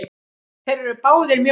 Þeir eru báðir mjög góðir.